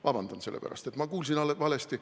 Vabandust, et ma kuulsin valesti!